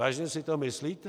Vážně si to myslíte?